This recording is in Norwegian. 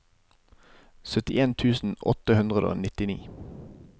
syttien tusen åtte hundre og nittini